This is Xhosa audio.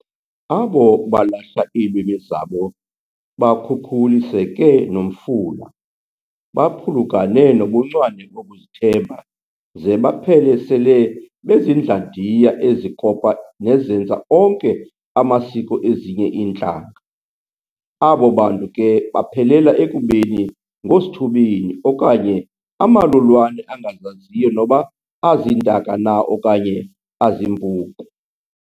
Abo balahla iilwimi zabo bakhukhuliseke nomfula, baphulukane nobuncwane bokuzithemba ze baphele sele bezindlandiya ezikopa nezenza onke amasiko ezinye intlanga. Abo bantu ke baphelela ekubeni ngoosithubeni okanye amalulwane angazaziyo noba aziintaka na okanye azimpuku.